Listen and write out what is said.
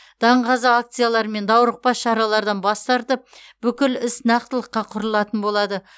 даңғаза ақциялар мен даурықпа шаралардан бас тартып бүкіл іс нақтылыққа құрылатын болады